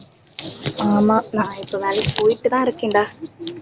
ஆமா நான் இப்ப வேலைக்கு போயிட்டுதான் இருக்கேன்டா